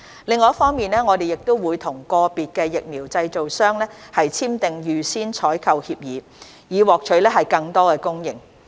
另一方面，我們會與個別疫苗製造商簽訂預先採購協議，以獲取更多供應。